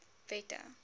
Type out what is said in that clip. wette